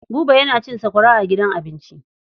Buba yana cin sakwara a gidan abinci.